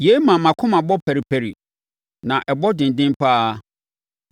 “Yei ma mʼakoma bɔ paripari na ɛbɔ denden pa ara.